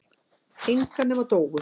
Enga nema Dóu.